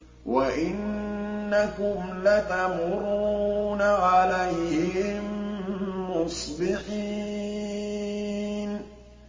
وَإِنَّكُمْ لَتَمُرُّونَ عَلَيْهِم مُّصْبِحِينَ